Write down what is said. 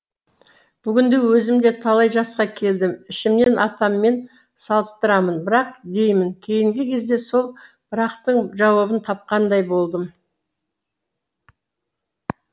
бүгінде өзім де талай жасқа келдім ішімнен атаммен салыстырамын бірақ деймін кейінгі кезде сол бірақтың жауабын тапқандай болдым